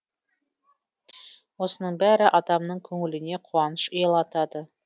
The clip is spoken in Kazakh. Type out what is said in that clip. осының бәрі адамның көңіліне қуаныш ұялатады